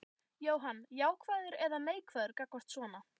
Jóhann: Jákvæður eða neikvæður gagnvart svona?